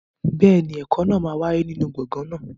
Bẹ́ẹ̀ni, ẹ̀kọ́ náà máa wáyé nínú gbọ̀ngàn náà.